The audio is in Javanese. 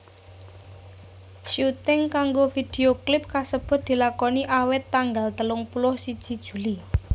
Syuting kanggo vidio klip kasebut dilakoni awit tanggal telung puluh siji Juli